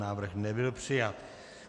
Návrh nebyl přijat.